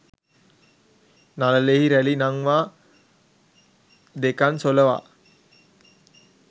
නළලෙහි රැළි නංවා දෙකණ් සොළවා